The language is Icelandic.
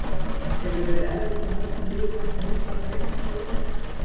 Hefur verið erfitt að móta liðið eftir miklar breytingar í vetur?